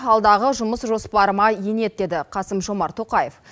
алдағы жұмыс жоспарыма енеді деді қаысм жомарт тоқаев